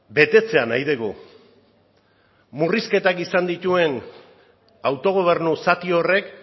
betetzea nahi dugu murrizketak izan dituen autogobernu zati horrek